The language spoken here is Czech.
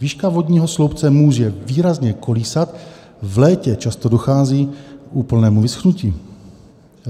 Výška vodního sloupce může výrazně kolísat, v létě často dochází k úplnému vyschnutí.